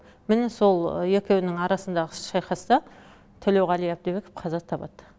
міне сол екеуінің арасындағы шайқаста төлеуғали әбдібеков қаза табады